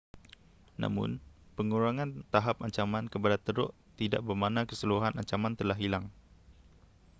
namun, pengurangan tahap ancaman kepada teruk tidak bermakna keseluruhan ancaman telah hilang